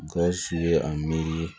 Gawusu ye a miiri